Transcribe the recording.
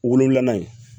Wolonfilanan ye